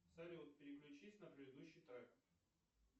салют переключись на предыдущий трек